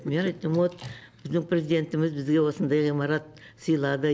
мен айттым вот біздің президентіміз бізге осындай ғимарат сыйлады